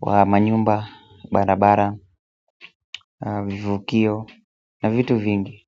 wa manyumba, barabara, vivukio na vitu vingi.